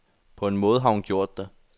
På en måde har hun gjort det.